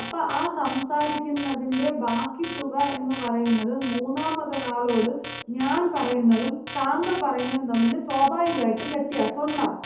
അപ്പൊ ആ സംസാരിക്കുന്നതിന്‍റെ ബാക്കി തുക എന്ന് പറയുന്നത് മൂന്നാമത് ഒരാളോട് ഞാൻ പറയുന്നതും താങ്കൾ പറയുന്നതും തമ്മിൽ സ്വാഭാവികമായിട്ടും വ്യത്യാസമുണ്ടാകും.